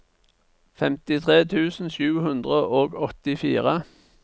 femtitre tusen sju hundre og åttifire